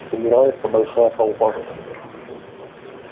собирается большая толпа